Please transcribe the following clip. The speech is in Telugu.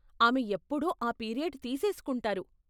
ఆమె ఎప్పుడూ ఆ పీరియడ్ తీసేసుకుంటారు.